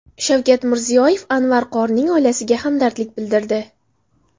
Shavkat Mirziyoyev Anvar qorining oilasiga hamdardlik bildirdi.